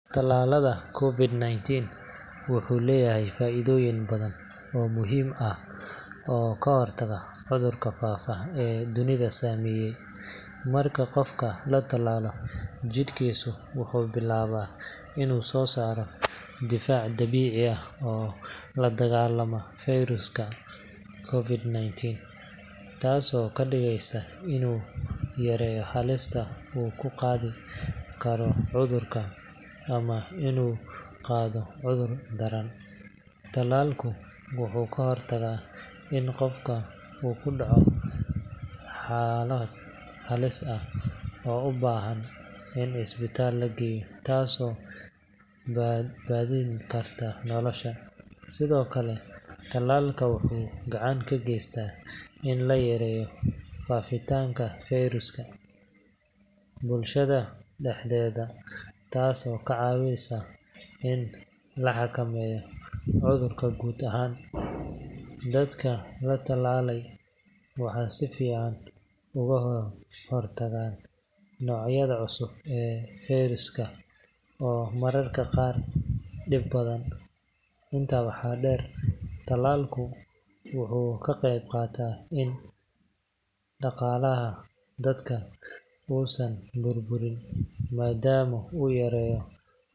Tallaalka COVID-19 wuxuu leeyahay faa’iidooyin badan oo muhiim ah oo ka hortaga cudurka faafa ee dunida saameeyay. Marka qofka la tallaalo, jidhkiisu wuxuu billaabaa inuu soo saaro difaac dabiici ah oo la dagaallama fayraska COVID-19, taasoo ka dhigaysa inuu yareeyo halista uu ku qaadi karo cudurka ama inuu qaado cudur daran. Tallaalku wuxuu ka hortagaa in qofka uu ku dhaco xaalad halis ah oo u baahan in isbitaalka la geeyo, taasoo badbaadin karta nolosha. Sidoo kale, tallaalka wuxuu gacan ka geystaa in la yareeyo faafitaanka fayraska bulshada dhexdeeda, taasoo ka caawisa in la xakameeyo cudurka guud ahaan. Dadka la tallaalay waxay si fiican uga hortagaan noocyada cusub ee fayraska oo mararka qaar dhib badan. Intaa waxaa dheer, tallaalku wuxuu ka qeyb qaataa in dhaqaalaha dalka uusan burburin, maadaama uu yareeyo.